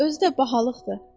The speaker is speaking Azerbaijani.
Özü də bahalıqdır.